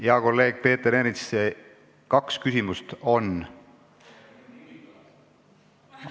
Hea kolleeg Peeter Ernits, kaks küsimust on.